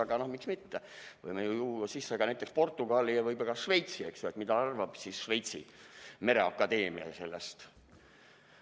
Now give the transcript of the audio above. Aga no miks mitte, me võime ju tuua sisse ka näiteks Portugali ja võib-olla ka Šveitsi, eks ju, et mida arvab siis Šveitsi mereakadeemia sellest.